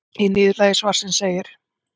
Í niðurlagi svarsins segir: